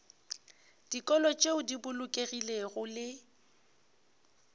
dikolo tšeo di bolokegilego le